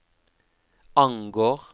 angår